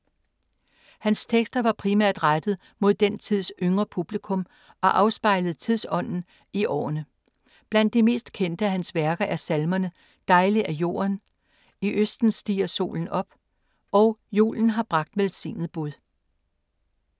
Hans tekster var primært rettet mod den tids yngre publikum og afspejlede tidsånden i årene. Blandt de meste kendte af hans værker er salmerne Dejlig er Jorden, I Østen stiger Solen op og Julen har bragt velsignet Bud.